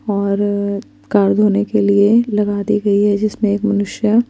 और कर धोने के लिए दी गयी है जिसमे एक मनुष्य --